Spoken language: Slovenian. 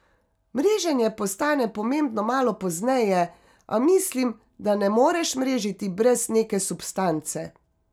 Mreženje postane pomembno malo pozneje, a mislim, da ne moreš mrežiti brez neke substance.